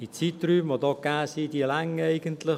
Die angegebenen Zeiträume reichen eigentlich.